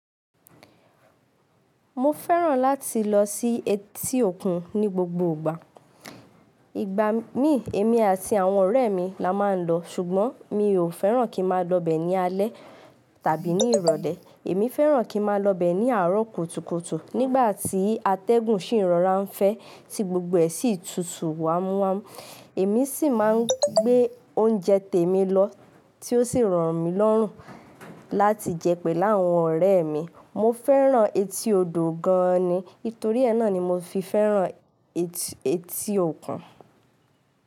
Mo fẹ́ràn láti lọ sí etí òkun ní gbogbo ìgbà. Ìgbà mí, èmi àti àwọn ọ̀rẹ́ mi la máa ń lọ, ṣùgbọ́n mi ò fẹ́ràn kí n máa lọ bẹ̀ ní alẹ́ tàbí ní ìrọ̀lẹ́. Èmi fẹ́ràn kí n máa lọ bẹ̀ ní àárọ̀ kótùkótù nígbà tí atẹ́gùn sì ìrọra ń fẹ́ tí gbogbo ẹ sì tutù wámúwámú. Èmi sì máa ń gbé oúnjẹ tèmi lọ tí ó sì ràn mí lọ́rùn láti jẹ pẹ̀lú àwọn ọ̀rẹ́ mi. Mo fẹ́ràn etí odò gan an ni, nítorí ẹ náà ni mo fi fẹ́ràn etí òkun.